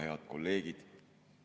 Head kolleegid!